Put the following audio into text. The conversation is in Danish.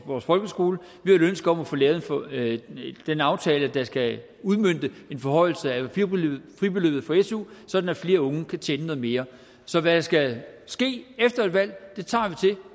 vores folkeskoler vi har et ønske om at få lavet den aftale der skal udmønte en forhøjelse af fribeløbet for su sådan at flere unge kan tjene noget mere så hvad der skal ske efter et valg tager